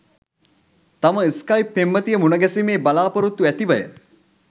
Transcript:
තම ස්‌කයිප් පෙම්වතිය මුණගැසීමේ බලාපොරොත්තු ඇතිවය